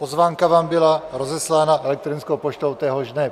Pozvánka vám byla rozeslána elektronickou poštou téhož dne.